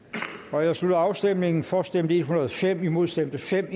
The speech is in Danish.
nu jeg slutter afstemningen for stemte en hundrede og fem imod stemte fem